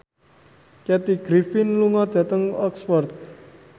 Kathy Griffin lunga dhateng Oxford